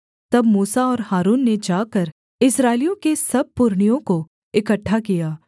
तब मूसा और हारून ने जाकर इस्राएलियों के सब पुरनियों को इकट्ठा किया